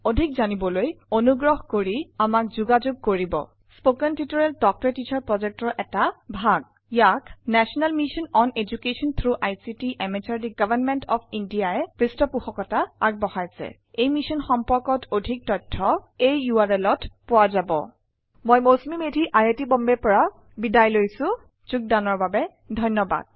অধিক জানিবলৈ অনুগ্ৰহ কৰি আমাক যোগাযোগ কৰিব spoken tutorial talk to a teacher projectৰ এটা ভাগ ই আইচিটি এমএচআৰডি গভৰ্ণমেন্ট অফ ইণ্ডিয়াৰ যোগেৰে এদুকেশ্যনৰ উপৰত নেশ্যনেল মিচন দ্বাৰা সমৰ্থিত এই মিচন বিষয়ক অধিক information spoken hyphen tutorial dot org slash এনএমইআইচিত হাইফেন ইন্ট্ৰত উপলব্ধ এই টিউটৰিয়েলত বৰঙনি যোগালে প্ৰগয়ান বেজবৰুৱায়ে মই মৌচুমি মেধি চাইন অফ কৰিচু অংশ গ্ৰহণৰ বাবে ধন্যবাদ